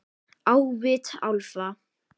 Á vit álfa